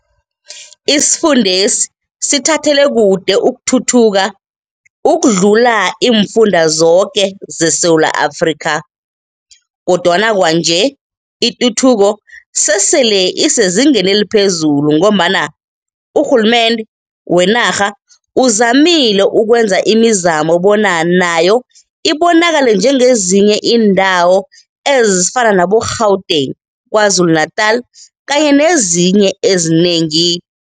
Isifundesi sithathele kude ukuthuthuka ukudlula imfunda zoke zeSewula Afrika kodwana Kwanje ituthuko sesele isezingeni eliphezulu ngombana urhulumnde wenarha uzamile ukwenza imizamo bona nayo ibonakale njengezinye indawo ezifana nabo "gauteng, Kwazulu Natal kanye nezinye ezinengi."